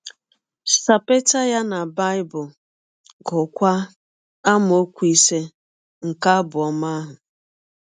Sapeta ya na Bible, gụọkwa amaọkwu ise nke abụ ọma ahụ.